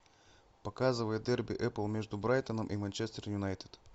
показывай дерби апл между брайтоном и манчестер юнайтед